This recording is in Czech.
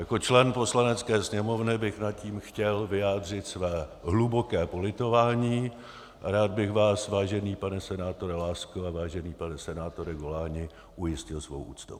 Jako člen Poslanecké sněmovny bych nad tím chtěl vyjádřit své hluboké politování a rád bych vás, vážený pane senátore Lásko a vážený pane senátore Goláni, ujistil svou úctou.